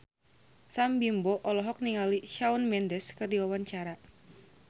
Sam Bimbo olohok ningali Shawn Mendes keur diwawancara